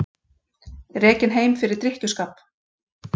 Rekinn heim fyrir drykkjuskap